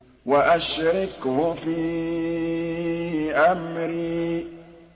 وَأَشْرِكْهُ فِي أَمْرِي